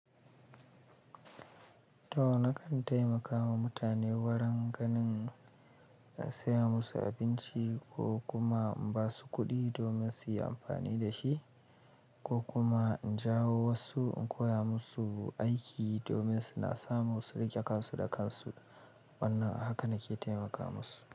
To nakan taimakawa mutane waran ganin in saya musu abinci ko kuma in ba su kuɗi domin su yi amfani da shi, ko kuma in jawo wasu in koya musu aiki domin suna samu su riƙe kansu da kansu. Wannan haka nake taimaka musu.